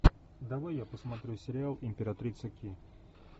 давай я посмотрю сериал императрица ки